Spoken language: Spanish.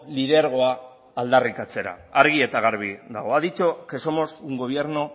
lidergoa aldarrikatzera argi eta garbi dago ha dicho que somos un gobierno